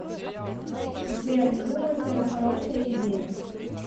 сбер не думаю что это хорошая идея